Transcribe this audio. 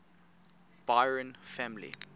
byron family